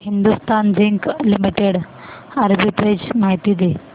Hindustan zinc limited arbitrage माहिती दे